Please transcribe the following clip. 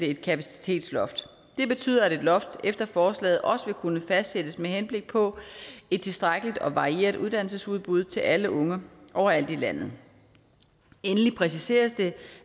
et kapacitetsloft det betyder at et loft efter forslaget også vil kunne fastsættes med henblik på et tilstrækkeligt og varieret uddannelsesudbud til alle unge overalt i landet endelig præciseres det